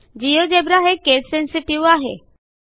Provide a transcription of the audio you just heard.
GeoGebra हे case sensitive आहे